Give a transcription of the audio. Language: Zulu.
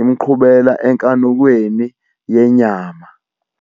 imqhubela enkanukweni yenyama!